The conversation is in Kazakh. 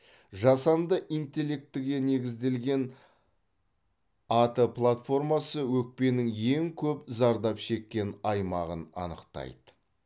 жасанды интеллектіге негізделген ат платформасы өкпенің ең көп зардап шеккен аймағын анықтайды